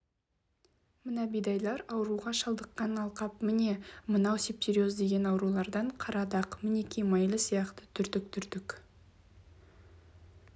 мына бидайлар ауруға шалдыққан алқап міне мынау септериоз деген аурудан қара дақ мінеки майлы сияқты түртік-түртік